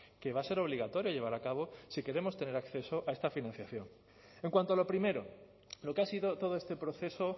que va a ser obligatorio llevar a cabo si queremos tener acceso a esta financiación en cuanto a lo primero lo que ha sido todo este proceso